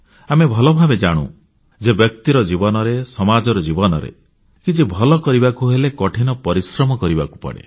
ଆମେ ଭଲ ଭାବେ ଜାଣୁ ଯେ ବ୍ୟକ୍ତିର ଜୀବନରେ ସମାଜର ଜୀବନରେ କିଛି ଭଲ କରିବାକୁ ହେଲେ କଠିନ ପରିଶ୍ରମ କରିବାକୁ ପଡ଼େ